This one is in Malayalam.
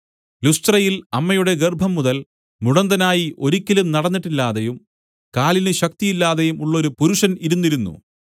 ലുസ്ത്രയിൽ അമ്മയുടെ ഗർഭംമുതൽ മുടന്തനായി ഒരിക്കലും നടന്നിട്ടില്ലാതെയും കാലിന് ശക്തിയില്ലാതെയും ഉള്ളൊരു പുരുഷൻ ഇരുന്നിരുന്നു